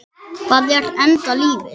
Hvað er enda lífið?